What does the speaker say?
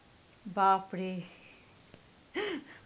বাপরে!